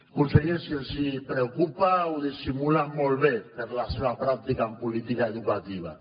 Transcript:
conseller si els preocupa ho dissimulen molt bé per la seva pràctica en política educativa